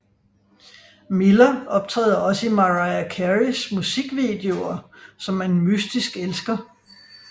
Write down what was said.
Miller optræder også i Mariah Careys musikvideoer som en mystisk elsker